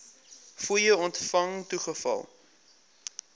fooie ontvang toegeval